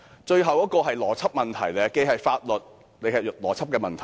最後一點既是法律問題，也是邏輯問題。